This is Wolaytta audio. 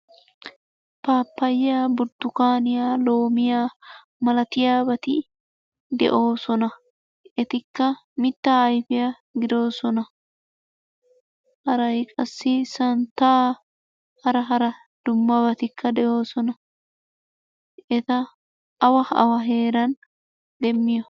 Pappayiya, burttukkaaniya, loomiya malatiyabati de'oosona. Etikka mittaa ayfiya giddoosona. Haray qassi santtaa hara hara dummabatikka de'oosona. Hageeta awa awa heeran demmiyo?